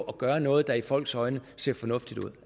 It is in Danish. at gøre noget der i folks øjne ser fornuftigt ud